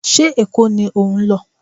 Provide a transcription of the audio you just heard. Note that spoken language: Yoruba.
Ṣé Èkó ni ò ń lọ?